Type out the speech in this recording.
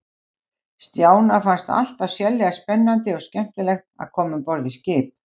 Stjána fannst alltaf sérlega spennandi og skemmtilegt að koma um borð í skip.